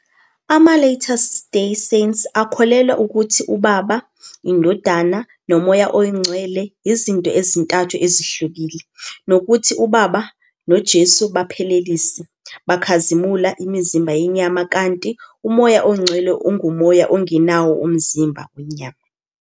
Ama-Latter Day Saints akholelwa ukuthi uBaba, iNdodana, noMoya oNgcwele yizinto ezintathu ezihlukile, nokuthi uBaba noJesu baphelelise, bakhazimulisa, imizimba yenyama, kanti uMoya oNgcwele ungumoya ongenawo umzimba wenyama.